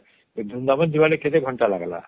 ଏ ବୃନ୍ଦାବନ ଜିବା ଲାଗି କେତେ ଘଣ୍ଟା ଲାଗିଲା